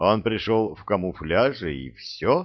он пришёл в камуфляже и все